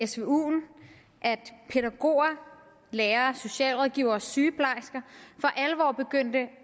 pædagoger lærere og socialrådgivere og sygeplejersker for alvor begyndte